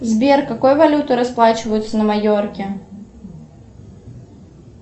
сбер какой валютой расплачиваются на майорке